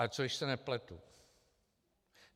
Ale co když se nepletu?